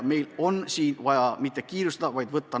Me ei tohi kiirustada.